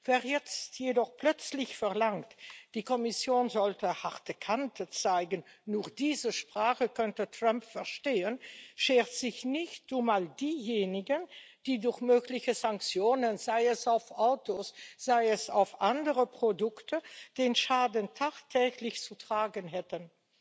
Wer jetzt jedoch plötzlich verlangt, die Kommission sollte harte Kante zeigen, nur diese Sprache könnte Trump verstehen, schert sich nicht um all diejenigen, die durch mögliche Sanktionen, sei es auf Autos, sei es auf andere Produkte, den Schaden tagtäglich zu tragen hätten.